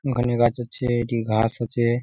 এখানে গাছের চেয়ে এটি ঘাস আছে ।